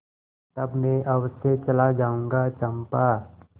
तब मैं अवश्य चला जाऊँगा चंपा